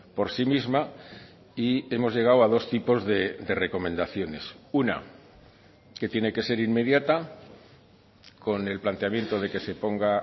por sí misma y hemos llegado a dos tipos de recomendaciones una que tiene que ser inmediata con el planteamiento de que se ponga